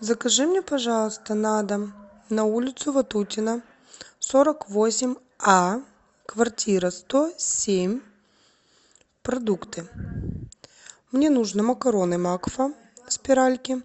закажи мне пожалуйста на дом на улицу ватутина сорок восемь а квартира сто семь продукты мне нужно макароны макфа спиральки